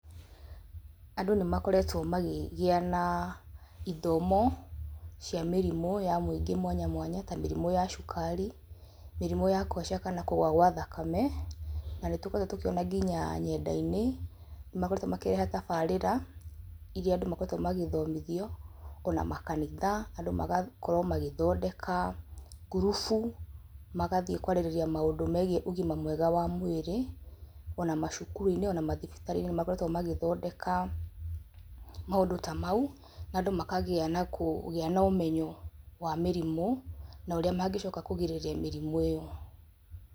Andũ nĩ makoretwo magĩgĩa na ithomo cia mĩrimũ ya mũingĩ mwanya mwanya ta mĩrimũ ya cukari, mĩrimũ ya kũhaica kana kũgũa gwa thakame, na nĩ tũkoretwo tũkĩona nginya nyenda-inĩ makoretwo makĩreha tabarĩra irĩa andũ makoretwo magĩthomithio. Ona makanitha andũ magakorwo magĩthondeka ngurubu magathiĩ kwarĩrĩria maũndũ megiĩ ũgima mwega wa mwĩrĩ ona macukuru-inĩ ona mathibitarĩ-inĩ nĩ makoretwo magĩthondeka maũndũ ta mau na andũ makagĩa na kũgĩa no ũmenyo wa mĩrimũ no ũrĩa mangicoka kũgirĩrĩria mĩrimũ ĩyo.